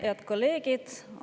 Head kolleegid!